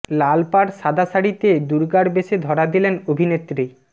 লালা পাড় সাদা শাড়িতে দুর্গার বেশে ধরা দিলেন অভিনেত্রী